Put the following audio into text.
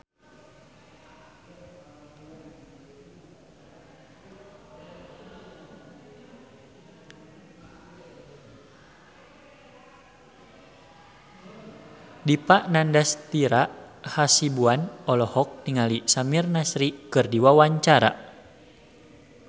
Dipa Nandastyra Hasibuan olohok ningali Samir Nasri keur diwawancara